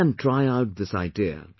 You too can try out this idea